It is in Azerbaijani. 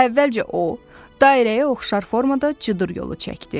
Əvvəlcə o dairəyə oxşar formada cıdır yolu çəkdi.